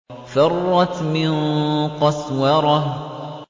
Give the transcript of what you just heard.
فَرَّتْ مِن قَسْوَرَةٍ